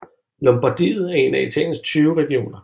Lombardiet er en af Italiens 20 regioner